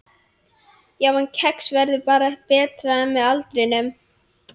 Já, en kex verður bara betra með aldrinum.